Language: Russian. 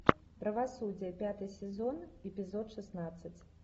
правосудие пятый сезон эпизод шестнадцать